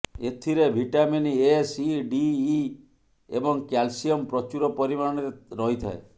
ଏଥିରେ vitamin A C D E ଏବଂ calcium ପ୍ରଚୁର ପରିମାଣରେ ରହିଥାଏ